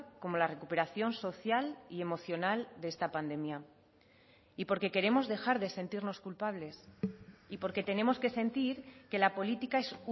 como la recuperación social y emocional de esta pandemia y porque queremos dejar de sentirnos culpables y porque tenemos que sentir que la política es